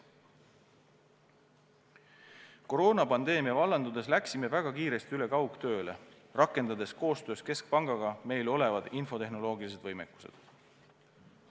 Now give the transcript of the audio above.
Koroonapandeemia vallandudes läksime väga kiiresti üle kaugtööle, rakendades koostöös keskpangaga olemasolevad infotehnoloogilised võimekused.